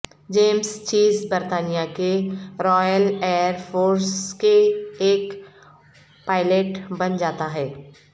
James Chase برطانیہ کے Royal Air Force کے ایک پائلٹ بن جاتا ہے